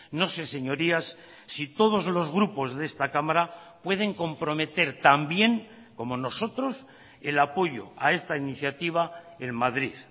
no sé señorías si todos los grupos de esta cámara pueden comprometer también como nosotros el apoyo a esta iniciativa en madrid